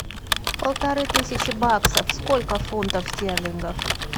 полторы тысячи баксов сколько фунтов стерлингов